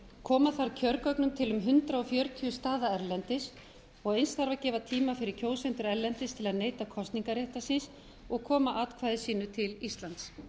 koma þarf kjörgögnum til um hundrað fjörutíu staða erlendis og eins þarf að gefa tíma fyrir kjósendur erlendis til að neyta kosningarréttar síns og koma atkvæði sínu til íslands